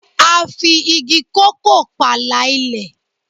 A fi igi kòkó pààlà ilé